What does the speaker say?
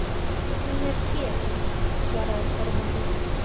Hún er hér, svaraði Kormákur.